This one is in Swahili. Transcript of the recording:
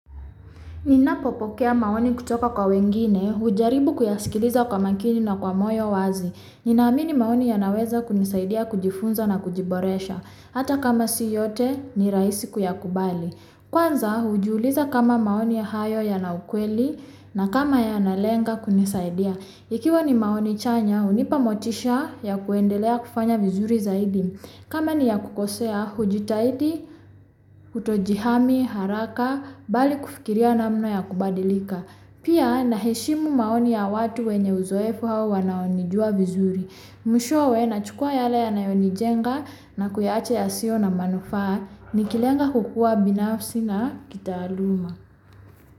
Ninapopokea maoni kutoka kwa wengine, hujaribu kuyasikiliza kwa makini na kwa moyo wazi. Ninaamini maoni yanaweza kunisaidia kujifunza na kujiboresha. Hata kama si yote ni raaisi kuyakubali. Kwanza, hujiuliza kama maoni hayo yana ukweli na kama yanalenga kunisaidia. Ikiwa ni maoni chanya, hunipa motisha ya kuendelea kufanya vizuri zaidi. Kama ni ya kukosea hujutaidi, utojihami, haraka, bali kufikiria namna ya kubadilika. Pia, naheshimu maoni ya watu wenye uzoefu au wanao nijua vizuri. Mwishowe nachukua yale yanayo nijenga na kuyaachaya yasiyo na manufaa. Nikilenga kukuwa binafusina na kitaaluma.